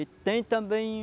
E tem também